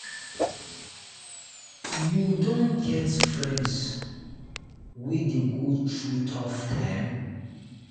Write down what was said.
you don get friend wey dey go through tough time?